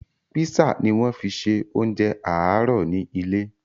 Písà ni wọ́n fi ṣe oúnjẹ àárọ̀ ni ilé